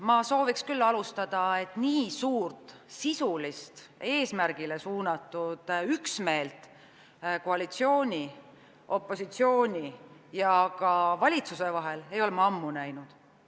Ma soovin küll alustada sellest, et nii suurt sisulist, eesmärgile suunatud üksmeelt koalitsiooni, opositsiooni ja ka valitsuse vahel ei ole ma ammu näinud.